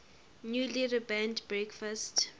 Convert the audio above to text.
newly rebranded breakfast